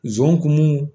Zon kun